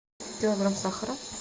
килограмм сахара